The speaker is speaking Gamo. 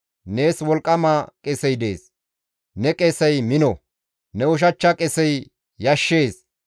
Nees wolqqama qesey dees; ne qesey mino; ne ushachcha qesey yashshees.